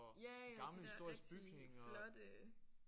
Ja ja de der rigtig flotte